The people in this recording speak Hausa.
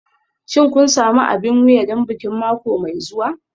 Shin kun sami abin wuya don bikin mako mai zuwa?